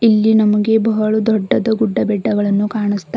ಇಲ್ಲಿ ನಮಗೆ ಬಹಳ ದೊಡ್ಡದ ಗುಡ ಬೆಟ್ಟಗಳನ್ನು ಕಾಣಸ್ತಾ--